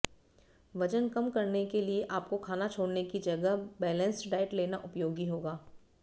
वजन कम करने के लिए आपको खाना छोड़ने की जगह बैलेंस्ड डाइट लेना उपयोगी होगा